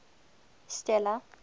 stella